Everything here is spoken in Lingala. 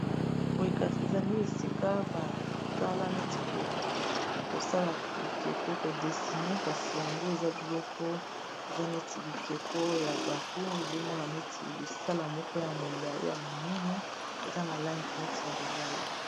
Boye kasi ezali esika batala neti kosala bikeko kodesine kasi yango eza biloko eza neti bikeko ya bato ozomona neti lisala moko ya molayi ya monene eza na langi neti ya lilala